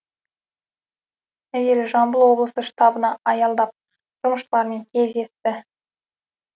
әуелі жамбыл облысы штабына аялдап жұмысшылармен кездесті